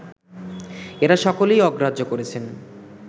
এঁরা সকলেই অগ্রাহ্য করছেন